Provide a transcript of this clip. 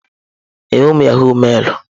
Mba, enweghị m yahọ̀g mailụ.